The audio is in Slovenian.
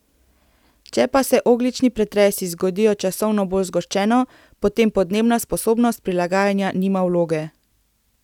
Če pa se ogljični pretresi zgodijo časovno bolj zgoščeno, potem podnebna sposobnost prilagajanja nima vloge.